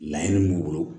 Laɲini b'u bolo